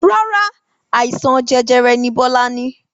Rárá, àìsàn jẹjẹrẹ ní Bọ́lá ní